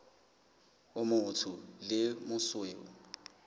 o motsho le o mosweu